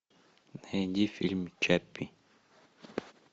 найди фильм чаппи